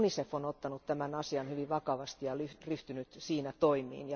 Esimerkiksi UNICEF on ottanut tämän asian hyvin vakavasti ja ryhtynyt siinä toimiin.